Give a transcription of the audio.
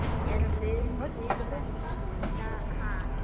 En munu þeir nýta hann?